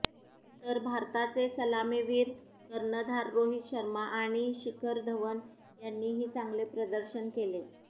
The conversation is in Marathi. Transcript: तर भारताचे सलामीवीर कर्णधार रोहित शर्मा आणि शिखर धवन यांनीही चांगले प्रदर्शन केले